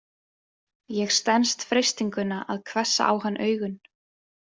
Ég stenst freistinguna að hvessa á hann augun.